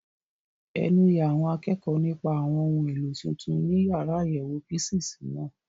Ẹnu ya àwọn akẹ́kọ̀ọ́ nípa àwọn ohun èlò tuntun inú yàrá àyẹ̀wò físììsì náà.